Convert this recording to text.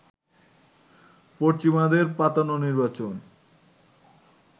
পশ্চিমাদের পাতানো নির্বাচন